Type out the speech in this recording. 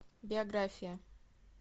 биография